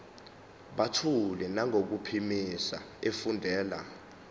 buthule nangokuphimisa efundela